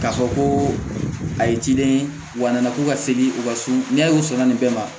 K'a fɔ ko a ye ciden ye wa n nana ko ka segin u ka so n'a y'u sɔnna nin bɛɛ ma